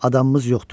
Adamımız yoxdu.